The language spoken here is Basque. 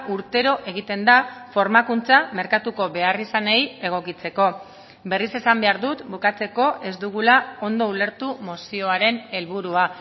urtero egiten da formakuntza merkatuko beharrizanei egokitzeko berriz esan behar dut bukatzeko ez dugula ondo ulertu mozioaren helburua